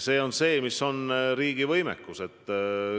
Asi on riigi võimekuses.